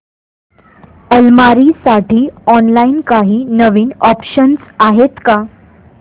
अलमारी साठी ऑनलाइन काही नवीन ऑप्शन्स आहेत का